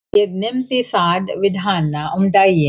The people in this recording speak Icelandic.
Ég nefndi það við hana um daginn.